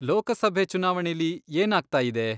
ಲೋಕಸಭೆ ಚುನಾವಣೆಲಿ ಏನಾಗ್ತಾಯಿದೆ?